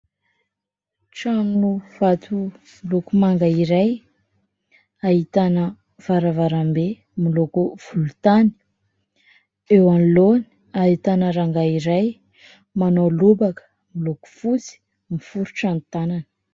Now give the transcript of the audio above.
Trano vato miloko manga iray ahitana varavarambe miloko volontany. Eo anoloany ahitana rangahy iray manao lobaka miloko fotsy, miforitra ny tanany.